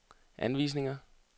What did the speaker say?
anvisninger